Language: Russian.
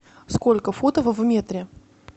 сколько футов в метре